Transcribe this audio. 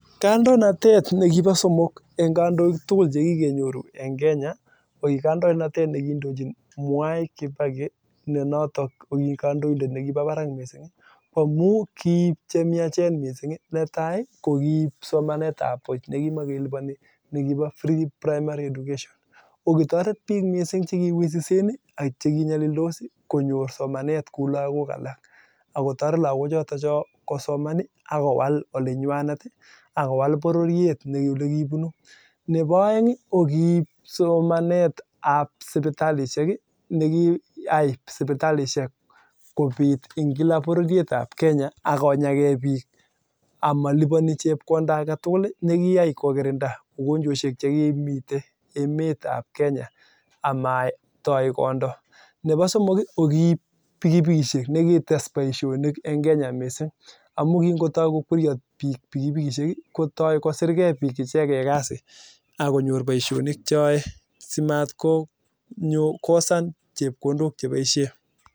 Kandonatet neboo somong nekiboo mwai kibaki ko kiib chemnyachen missing ii netai kiib somanet ab buch nekibakelipani nekipoo free primary education okitoret bik chechang' che kiwisisen akikomuchikei neboo aeng ko kiib sibitalishek kobaa kepeperuek tugul nekimakelipani nekiai kokirindaa ugonjwoshek tugul nebo somong kiib pikipikishek nekites baishonik